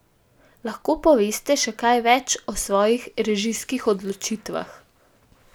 Lahko poveste še kaj več o svojih režijskih odločitvah?